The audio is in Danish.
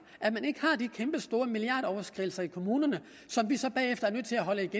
at man ikke har de kæmpestore milliardoverskridelser i kommunerne som vi så bagefter er nødt til at holde